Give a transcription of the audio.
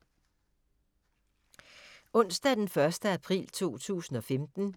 Onsdag d. 1. april 2015